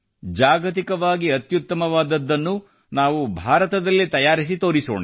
ಜಾಗತಿಕವಾಗಿ ಅತ್ಯುತ್ತಮವಾಗಿರುವುದನ್ನ ನಾವು ಭಾರತದಲ್ಲಿ ತಯಾರಿಸಿ ತೋರಿಸೋಣ